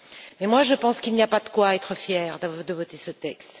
Mais je pense qu'il n'y a pas de quoi être fier de voter ce texte.